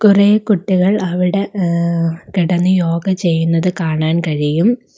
കുറെ കുട്ടികൾ അവിടെ ഉമ്മ് കിടന്നു യോഗ ചെയ്യുന്നത് കാണാൻ കഴിയും.